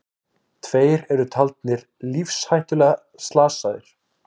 Tveir eru taldir lífshættulega slasaðir